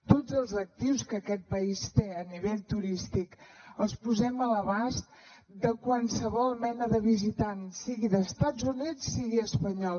tots els actius que aquest país té a nivell turístic els posem a l’abast de qualsevol mena de visitant sigui d’estats units sigui espanyol